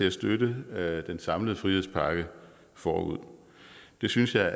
at støtte den samlede frihedspakke forud det synes jeg